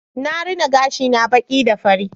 Na rina gashina baki da fari